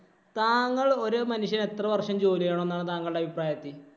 താങ്കള്‍ ഒരു മനുഷ്യന്‍ എത്ര വര്‍ഷം ജോലി ചെയ്യണം എന്നാണ് താങ്കളുടെ അഭിപ്രായത്തില്‍?